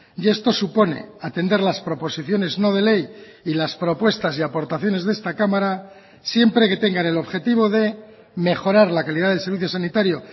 y esto supone atender las proposiciones no de ley y las propuestas y aportaciones de esta cámara siempre que tengan el objetivo de mejorar la calidad del servicio sanitario